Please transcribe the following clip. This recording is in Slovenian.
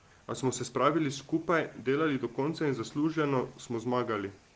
A smo se spravili skupaj, delali do konca in zasluženo smo zmagali.